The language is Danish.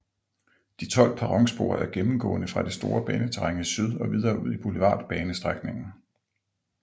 De 12 perronspor er gennemgående fra det store baneterræn i syd og videre ud i Boulevardbanestrækningen